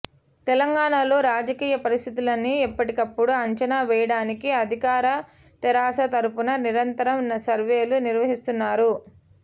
తెలంగాణ లో రాజకీయ పరిస్థితులని ఎప్పటికప్పుడు అంచనా వేయడానికి అధికార తెరాస తరపున నిరంతరం సర్వేలు నిర్వహిస్తున్నారు